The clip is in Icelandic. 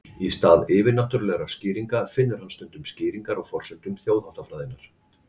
í stað yfirnáttúrulegra skýringa finnur hann stundum skýringar á forsendum þjóðháttafræðinnar